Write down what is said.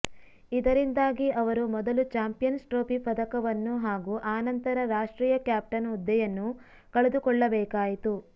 ಇದರಿಂದಾಗಿ ಅವರು ಮೊದಲು ಚಾಂಪಿಯನ್ಸ್ ಟ್ರೋಫಿ ಪದಕವನ್ನು ಹಾಗೂ ಆನಂತರ ರಾಷ್ಟ್ರೀಯ ಕ್ಯಾಪ್ಟನ್ ಹುದ್ದೆಯನ್ನು ಕಳೆದುಕೊಳ್ಳಬೇಕಾಯಿತು